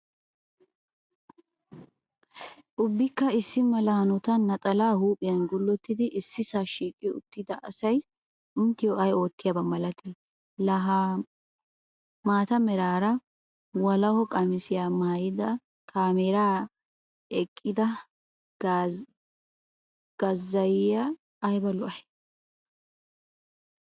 Ubbikka issi mala hanotan naxalaa huuphphiya gullottidi issisaa shiiqi uttida asay inttiyo ay oottiyaabaa milatii? Laa ha maata meraara walaho qamisiya maayada kaameeraara eqqida qazzaziya ayba lo'ay?